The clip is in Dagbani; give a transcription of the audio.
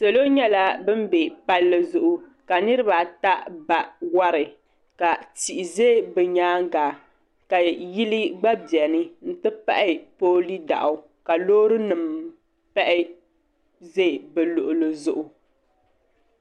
salo nyɛla ban be palli zuɣu ka niriba ata ba wari ka tihi ʒe bɛ nyaaga ka yili gba beni n-ti pahi pooli daɣu ka loori nima pahi ʒe bɛ luɣili zuɣu